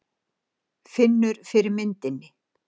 Finnur fyrir myndinni.